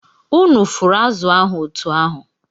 Unu fụrụ azụ̀ ahụ otú ahụ!